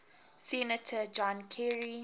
senator john kerry